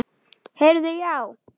Heyrðu já.